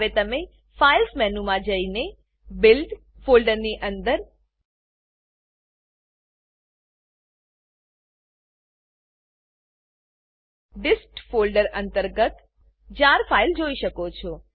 હવે તમે files files મેનુમાં જઈને બિલ્ડ બીલ્ડ ફોલ્ડરની અંદર ડિસ્ટ ડિસ્ટ ફોલ્ડર અંતર્ગત જાર જાર ફાઈલ જોઈ શકો છો